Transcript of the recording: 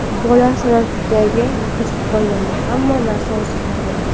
Bola san’atga qiziqib qolganida, hamma narsa o‘zgardi.